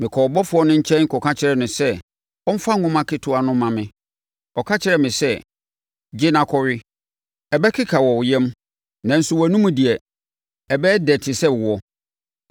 Mekɔɔ ɔbɔfoɔ no nkyɛn kɔka kyerɛɛ no sɛ ɔmfa nwoma ketewa no mma me. Ɔka kyerɛɛ me sɛ, “Gye na kɔwe. Ɛbɛkeka wɔ wo yam, nanso wʼanomu deɛ, ɛbɛyɛ dɛ te sɛ ɛwoɔ.”